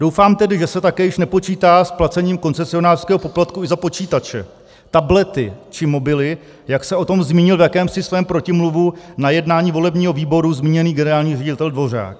Doufám tedy, že se také již nepočítá s placením koncesionářského poplatku i za počítače, tablety či mobily, jak se o tom zmínil v jakémsi svém protimluvu na jednání volebního výboru zmíněný generální ředitel Dvořák.